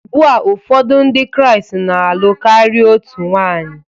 Ugbua ụfọdụ Ndị Kraịst na-alụ karịa otu nwanyị